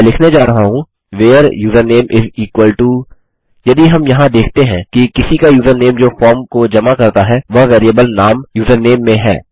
मैं लिखने जा रहा हूँ where username is equal to यदि हम यहाँ देखते हैं कि किसी का यूज़रनेम जो फॉर्म को जमा करता है वह वेरिएबल नाम यूजरनेम में है